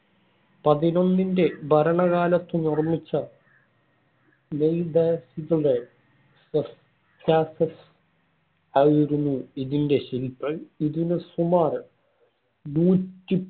പതിനൊന്നിന്‍റെ ഭരണകാലത്ത് നിര്‍മ്മിച്ച നൈദസ്സിലെ സൊസ്‌‌റ്റ്റാറ്റസ് ആയിരുന്നു ഇതിന്‍റെ ശില്പി. ഇതിന് സുമാർ നൂറ്റി